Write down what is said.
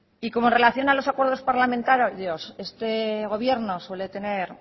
y como en relación a los acuerdos parlamentarios este gobierno suele tener